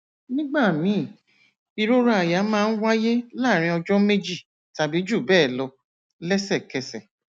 nígbà míì ìrora àyà máa ń wáyé láàárín ọjọ méjì tàbí jù bẹẹ lọ lẹsẹkẹsẹ